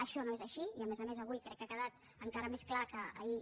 això no és així i a més a més avui crec que ha quedat encara més clar que ahir